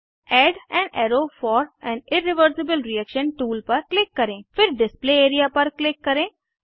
add an arrow for an irreversible reaction tool पर click करें फिर डिस्प्ले एरिया पर क्लिक करें